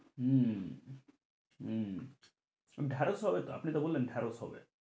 হম উম ঢেঁড়স হবে তো আপনি তো বললেন ঢেঁড়স হবে।